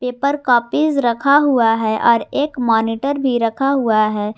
Paper copy रखा हुआ है और एक मॉनिटर भी रखा हुआ है।